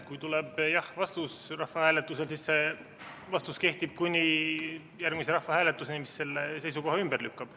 Kui tuleb jah-vastus rahvahääletusel, siis see vastus kehtib kuni järgmise rahvahääletuseni, mis selle seisukoha ümber lükkab.